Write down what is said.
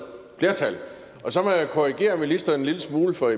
flertal og så må jeg korrigere ministeren en lille smule for